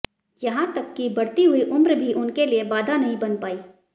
यहां तक कि बढ़ती हुई उम्र भी उनके लिए बाधा नहीं बन पाई